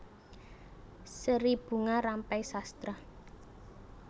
Seri Bunga Rampai Sastra